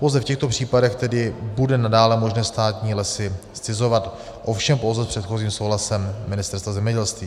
Pouze v těchto případech tedy bude nadále možné státní lesy zcizovat, ovšem pouze s předchozím souhlasem Ministerstva zemědělství.